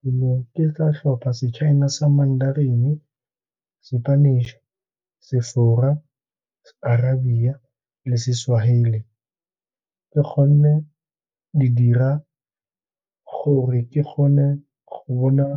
Ke ne ke tla tlhopa se-China sa Manderin, Spanish, Sefora, Arabia le se-Swahili ka gonne di dira gore ke gone go bona